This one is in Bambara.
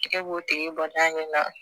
Tɛgɛ b'o tigi bɔ n'a ɲɛna